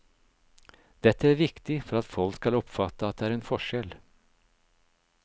Dette er viktig for at folk skal oppfatte at det er en forskjell.